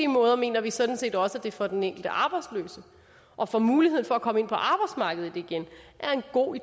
måde mener vi sådan set også at det for den enkelte arbejdsløse og for muligheden for at komme ind på arbejdsmarkedet igen er en god